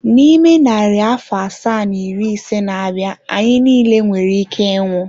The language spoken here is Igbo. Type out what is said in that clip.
N'ime narị afọ asaa na iri ise na-abịa, anyị niile nwere ike ịnwụ.